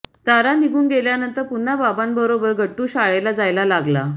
तारा निघून गेल्यानंतर पुन्हा बाबांबरोबर गट्टू शाळेला जायला लागला